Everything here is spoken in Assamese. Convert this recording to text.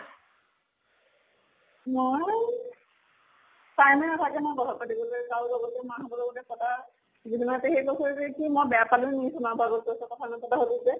মই time য়ে নাথাকে নহয় কথা পাতিবলৈ কাৰো লগতে। মা হঁতৰ লগতে পতা। জেঠী মাহতে সেই বছৰে যে কি মই বেয়া পালো নেকি চোনা বাৰ আগত কৈছে । কথা নাপাতা হʼলো যে।